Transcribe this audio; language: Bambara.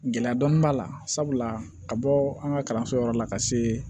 Gɛlɛya dɔɔnin b'a la sabula ka bɔ an ka kalanso yɔrɔ la ka se